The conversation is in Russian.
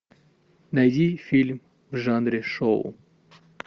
найди фильм в жанре шоу